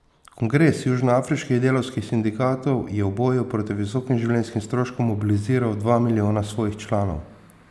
Kongres južnoafriških delavskih sindikatov je v boju proti visokim življenjskim stroškom mobiliziral dva milijona svojih članov.